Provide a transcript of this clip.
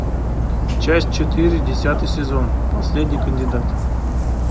часть четыре десятый сезон последний кандидат